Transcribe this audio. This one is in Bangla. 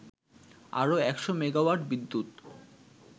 আরও ১০০ মেগাওয়াট বিদ্যুৎ